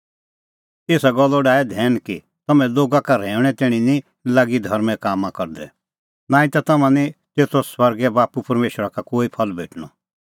एसा गल्लो डाहै धैन कि तम्हैं लोगा का रहैऊंणै तैणीं निं लागी धर्में काम करदै नांईं ता तम्हां निं तेतो स्वर्गे बाप्पू परमेशरा का कोई फल भेटणअ